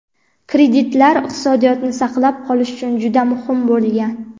"kreditlar iqtisodiyotni saqlab qolish uchun juda muhim bo‘lgan".